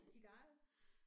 Dit eget?